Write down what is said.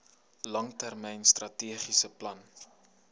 langtermyn strategiese plan